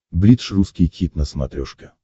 бридж русский хит на смотрешке